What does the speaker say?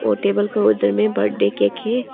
और टेबल के उधर में बर्थडे केक है।